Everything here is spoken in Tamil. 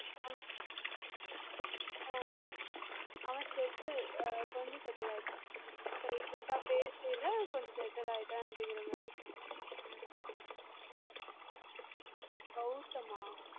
அவன் settle கொஞ்சம் செட்டில் ஆகிட்டான் இப்பம் recent பேசயில கொஞ்சம் settle ஆகிட்டன்னு சொன்னான் Gowtham ஆஹ்